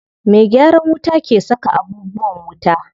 Me gyaran wuta ke saka abubuwan wuta.